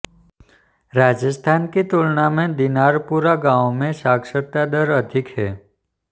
राजस्थान की तुलना में दिनारपुरा गाँव में साक्षरता दर अधिक है